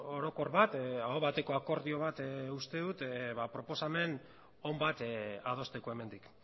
orokor bat aho bateko akordio bat uste dut proposamen on bat adosteko hemendik